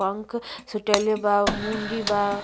पंख सुटइले बा मुंडी बा।